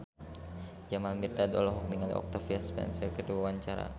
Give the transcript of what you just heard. Jamal Mirdad olohok ningali Octavia Spencer keur diwawancara